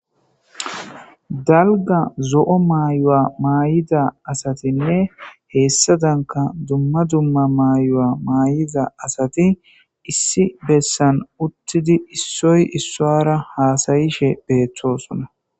dalga zo7o maayuwa maayida asatinne heessadanka dumma dumma maayu7a maayiza asati issi bessan uttidi issoy issuwara haasayishe beettosona